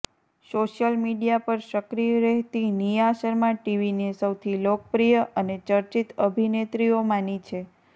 social media પર સક્રિય રહેતી નિયા શર્મા ટીવીની સૌથી લોકપ્રિય અને ચર્ચિત અભિનેત્રીઓમાની છે